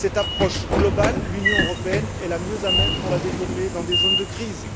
Cette approche globale, l'Union européenne est la mieux à même de la développer dans des zones de crise.